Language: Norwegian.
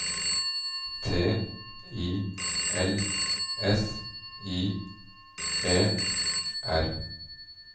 T I L S I E R